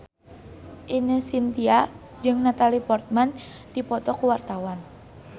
Ine Shintya jeung Natalie Portman keur dipoto ku wartawan